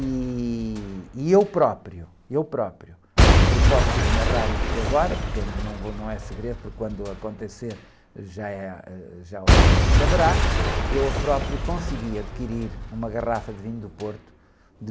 E... E eu próprio, eu próprio, eu posso narrar isto agora, porque não, não é segredo, porque quando acontecer já, eh, ãh, já, já se saberá, eu próprio consegui adquirir uma garrafa de vinho do Porto...